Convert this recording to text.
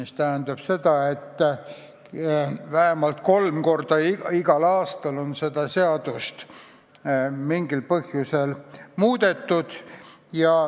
Seega vähemalt kolm korda igal aastal on seda seadust mingil põhjusel muudetud.